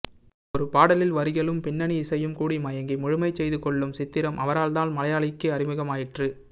ஒரு பாடலில் வரிகளும் பின்னணி இசையும் கூடிமுயங்கி முழுமைசெய்துகொள்ளும் சித்திரம் அவரால்தான் மலையாளிக்கு அறிமுகமாயிற்று